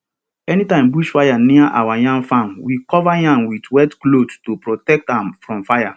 anytime bush fire near our yam farm we cover yam with wet cloth to protect am from fire